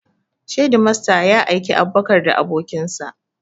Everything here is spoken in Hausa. Shedimasta ya aiki Abubakar da abokin sa